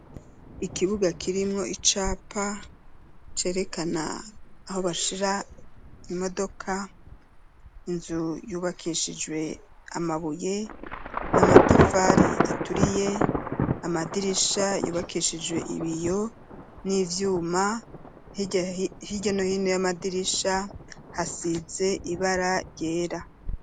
Ikibuga kirimwo icapa, cerekana aho bashira imodoka, inzu yubakishijwe amabuye, n'amatafari aturiye; amadirisha yubakishijwe ibiyo, n'ivyuma; hirya no hino y'amadirisha, hasizwe ibara ryera.